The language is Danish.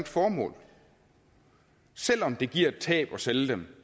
formål selv om det giver et tab at sælge dem